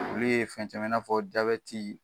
Olu ye fɛn caman ye, i na fɔ